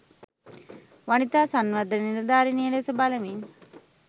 වනිතා සංවර්ධන නිලධාරිණිය දෙස බලමින්